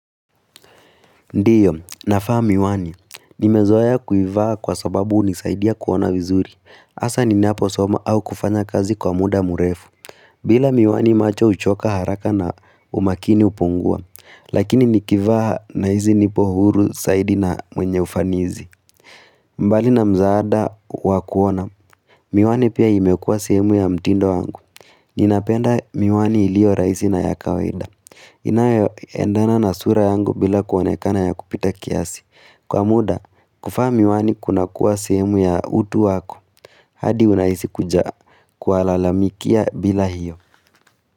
Ndiyo, nafaa miwani. Nimezoea ya kuivaa kwa sababu unisaidia kuona vizuri. Asa ninaposoma au kufanya kazi kwa muda murefu. Bila miwani macho uchoka haraka na umakini upungua. Lakini nikivaa nahizi nipo huru saidi na mwenye ufanizi. Mbali na mzaada wa kuona. Miwani pia imekua sehemu ya mtindo wangu. Ninapenda miwani ilio raisi na ya kawaida. Inayoendana na sura yangu bila kuonekana ya kupita kiasi. Kwa muda, kufaa miwani kunakuwa sehemu ya utu wako. Hadi unaisi kuja kualalamikia bila hiyo.